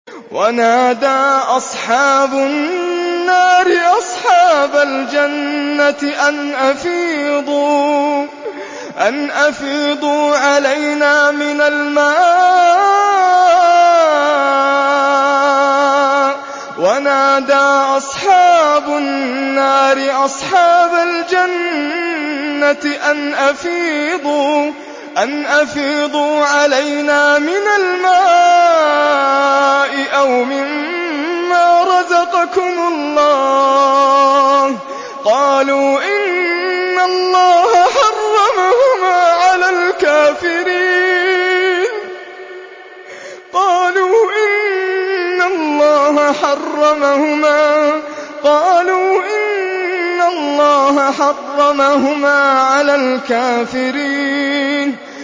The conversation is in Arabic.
وَنَادَىٰ أَصْحَابُ النَّارِ أَصْحَابَ الْجَنَّةِ أَنْ أَفِيضُوا عَلَيْنَا مِنَ الْمَاءِ أَوْ مِمَّا رَزَقَكُمُ اللَّهُ ۚ قَالُوا إِنَّ اللَّهَ حَرَّمَهُمَا عَلَى الْكَافِرِينَ